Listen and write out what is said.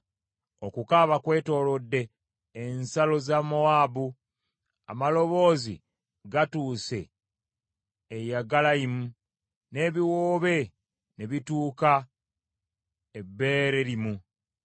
Okukaaba kwetooloodde ensalo za Mowaabu; amaloboozi gatuuse e Yegalayimu, n’ebiwoobe ne bituuka e Beererimu.